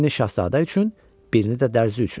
Birini Şahzadə üçün, birini də Dərzi üçün.